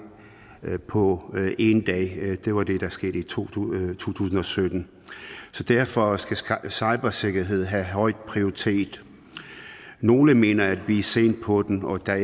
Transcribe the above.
på en dag det var det der skete i to tusind og sytten derfor skal skal cybersikkerhed have høj prioritet nogle mener at vi er sent på den og at der